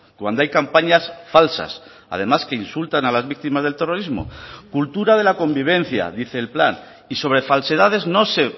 cuando hay campañas falsas además que insultan a las víctimas del terrorismo cultura de la convivencia dice el plan y sobre falsedades no se